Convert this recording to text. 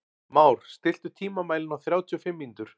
Már, stilltu tímamælinn á þrjátíu og fimm mínútur.